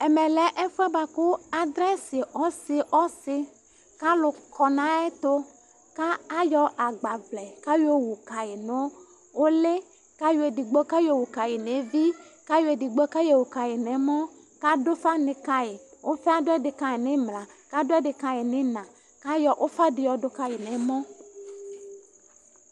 ɛmɛlɛ ɛfuɛ di ku adrɛsi ɔsi ɔsi ku alu kɔ na ayɛtu ka yɔ agbaʋlɛ kayɔwunu uli kayɔ edigbo owukayi nu evi, edigbo nu mɔ kaɖu ufa ka nɛmɔkaɖu ufa nu iʋla kayɔ ufa dini ɖu ka nɛmɔ